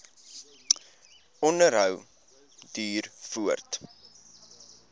onderhou duur voort